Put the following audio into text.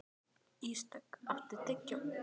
Ísdögg, áttu tyggjó?